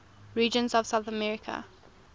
regions of south america